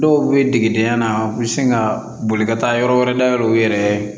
Dɔw bɛ degedenya la u bɛ sin ka boli ka taa yɔrɔ wɛrɛ dayɛlɛ u yɛrɛ ye